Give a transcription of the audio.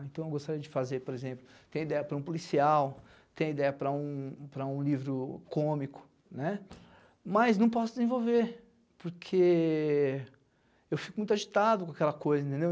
Então, eu gostaria de fazer, por exemplo, ter ideia para um policial, ter ideia para um para um livro cômico, né, mas não posso desenvolver, porque eu fico muito agitado com aquela coisa, entendeu?